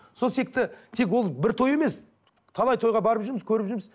сол тек ол бір той емес талай тойға барып жүрміз көріп жүрміз